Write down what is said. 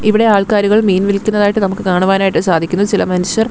ഇവിടെ ആൾക്കാരുകൾ മീൻ വിൽക്കുന്നതായിട്ട് നമുക്ക് കാണുവാനായിട്ട് സാധിക്കുന്നു ചില മനുഷ്യർ--